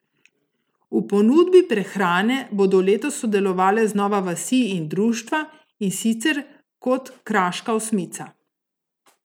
V ponudbi prehrane bodo letos sodelovale znova vasi in društva, in sicer kot kraška osmica.